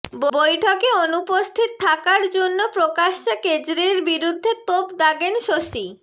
বৈঠকে অনুপস্থিত থাকার জন্য প্রকাশ্যে কেজরির বিরুদ্ধে তোপ দাগেন শশী